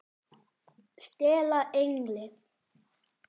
STELA ENGLI!